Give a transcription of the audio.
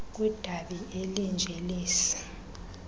kwidabi elinje lesi